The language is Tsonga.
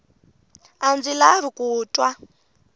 a ndzi lavi ku twa